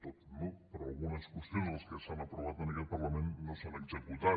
tot no però algunes qüestions de les que s’han aprovat en aquest parlament no s’han executat